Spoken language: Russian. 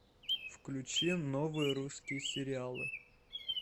включи новые русские сериалы